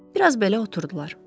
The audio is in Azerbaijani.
Bir az belə oturdular.